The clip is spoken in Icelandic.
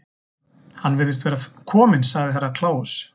Hann virðist vera kominn, sagði Herra Kláus.